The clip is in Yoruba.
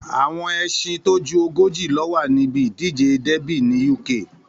Àwọn ẹṣin tó ju ogójì ló wà ní ibi ìdíje dẹ́bì ní Uk